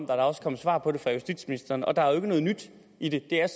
der er også kommet svar på det fra justitsministeren og der er jo ikke noget nyt i det det er